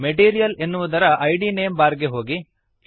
material ಎನ್ನುವುದರ ಇದ್ name bar ಗೆ ಹೋಗಿರಿ